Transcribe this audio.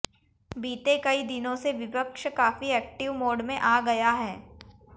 बीते कई दिनों से विपक्ष काफी एक्टिव मोड में आ गया है